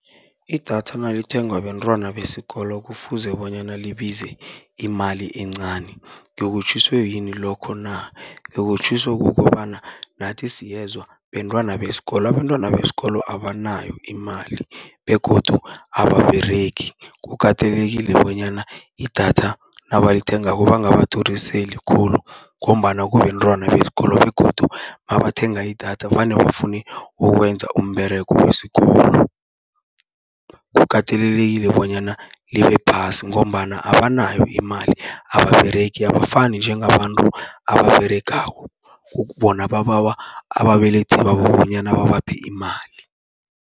Idatha nalithengwa bentwana besikolo kufuze bonyana libize imali encani, ngikutjhiswe yini lokho na?, ngikutjhiso kukobana nathi siyezwa bentwana besikolo. Abentwana besikolo abanayo imali begodu ababeregi, kukatelelekile bonyana idatha nabalithengako bangabaduriseli khulu, ngombana kubentwana besikolo begodu nabathenga idatha vane bafune ukwenza umberego wesikolo. Kukatelelekile bonyana libe phasi, ngombana abanayo imali ababeregi abafani njengabantu ababeregako, bona bababawa ababelethi babo bonyana babaphe imali.